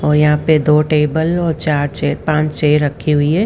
और यहां पे दो टेबल और चार चे पांच चेय रखी हुई है।